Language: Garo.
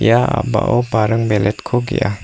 ia a·bao baring beletko ge·a.